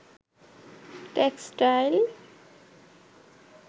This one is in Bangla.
টেক্সটাইল